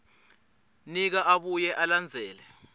nika abuye alandzele